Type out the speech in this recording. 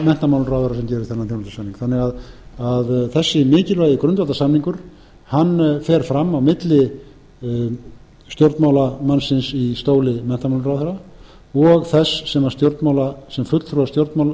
menntamálaráðherra sem gerir þennan þjónustusamning þannig að þessi mikilvægi grundvallarsamningur fer fram á milli stjórnmálamannsins í stóli menntamálaráðherra og þess sem fulltrúar